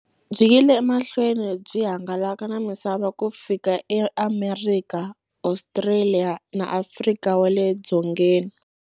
Byi yile emahlweni byi hangalaka na misava ku fika eAmerika, Ostraliya na Afrika wale dzongeni.